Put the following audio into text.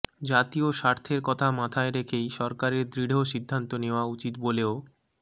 জাতীয় স্বার্থের কথা মাথায় রেখেই সরকারের দৃঢ় সিদ্ধান্ত নেওয়া উচিত বলেও